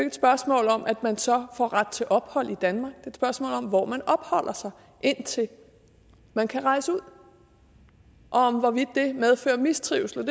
et spørgsmål om at man så får ret til ophold i danmark det et spørgsmål om hvor man opholder sig indtil man kan rejse ud og om hvorvidt det medfører mistrivsel